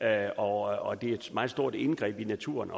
er også et meget stort indgreb i naturen